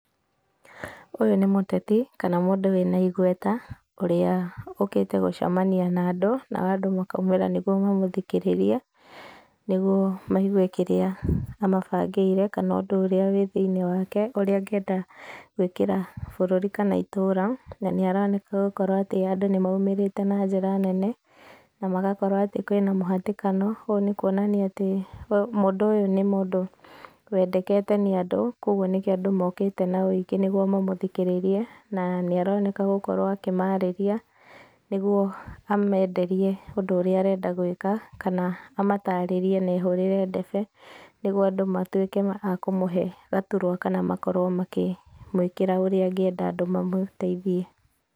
Ũyũ nĩ mũteti kana mũndũ wĩna igweta ũrĩa ũkĩte gũcemania na andũ nao andũ makaumĩra nĩgũo mamũthikĩrĩrie nĩgũo maigũe kĩrĩa amabangĩire kana ũndũ ũrĩa wĩ thĩĩnĩe wake ũrĩa angĩenda gũĩkĩra bũrũri kana itũra na nĩ aroneka gũkorwo atĩ andũ nĩmauĩrĩte na njĩra nene na magakorwo atĩ kũĩna mũhatĩkano ũũ nĩ kũonania atĩ mũndũ ũyũ nĩ mũndũ wendekete nĩ andũ kwa ũguo nĩkĩo andũ mokite na wĩingĩ nĩgũo mamũthikĩrĩrie na nĩ aroneka gũkorwo akĩmarĩria nĩgũo amenderie ũndũ ũrĩa arenda gũĩka na amatarĩrie na ehũrĩre ndebe nĩgũo andũ matũĩke a kũmũhe gatũrwa kana makorwo makĩmũĩkĩra ũríĩ angĩenda andũ mamũteithie.